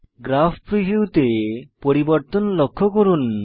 graph preview তে পরিবর্তন লক্ষ্য করুন